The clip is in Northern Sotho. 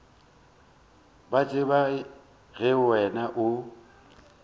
ba tseba ge wena o